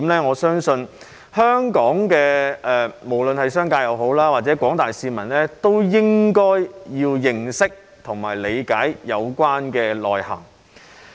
我相信無論是本港的商家或廣大市民，都應該要認識及理解相關重點的內涵。